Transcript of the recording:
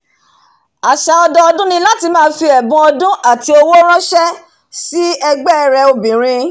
àsà ọdọdún ni láti máa fi ẹ̀bun ọdún àti owó ránsẹ́ sí ẹ̀gbọ́n rẹ̀ obìrin